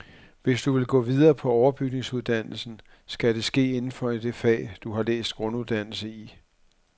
Hvis du vil gå videre på overbygningsuddannelsen, skal det ske inden for det fag, du har læst grunduddannelse i.